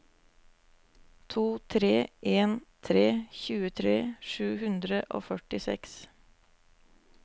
to tre en tre tjuetre sju hundre og førtiseks